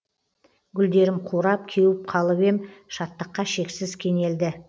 гүлдерім қурап кеуіп қалып ем шаттыққа шексіз кенелді